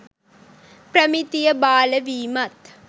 ප්‍රමිතිය බාල වීමත්